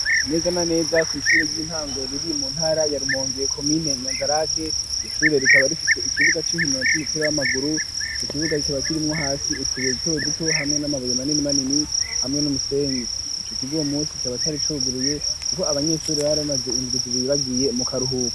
Neza na neza kwishure ry'intango riri mu ntara ya Rumonge komine Nyanzarake, iryo shure rikaba rifise ikibuga c'inkino c'umupira w'amaguru, ico kibuga kiba kirimwo hasi utubuye duto duto hamwe n'amabuye manini manini hamwe n'umusenyi, ico kigo uwu munsi kikaba cari cuguruye kuko abanyeshuri bari bamaze indwi zibiri bagiye mu karuhuko.